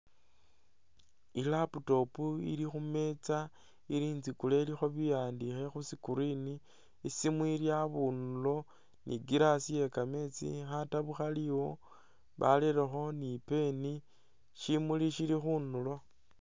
I'laptop ili khumeza ili itsikule ilikho biwandikho khuscreen i'simu ili abundulo ni glass yekameetsi khataabu khaliwo barelekho ni pen shimuli shili khundulo